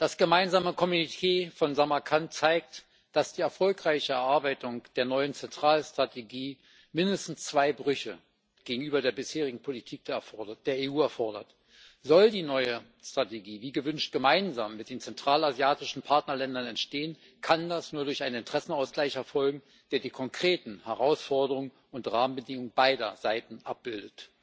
Das Gemeinsame Kommuniqué von Samarkand zeigt, dass die erfolgreiche Erarbeitung der neuen Zentralasienstrategie mindestens zwei Brüche gegenüber der bisherigen Politik der EU erfordert Soll die neue Strategie wie gewünscht gemeinsam mit den zentralasiatischen Partnerländern entstehen, kann das nur durch einen Interessenausgleich erfolgen, der die konkreten Herausforderungen und Rahmenbedingungen beider Seiten abbildet.